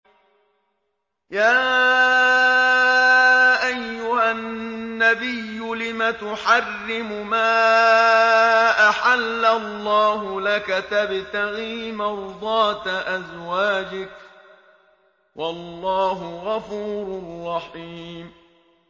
يَا أَيُّهَا النَّبِيُّ لِمَ تُحَرِّمُ مَا أَحَلَّ اللَّهُ لَكَ ۖ تَبْتَغِي مَرْضَاتَ أَزْوَاجِكَ ۚ وَاللَّهُ غَفُورٌ رَّحِيمٌ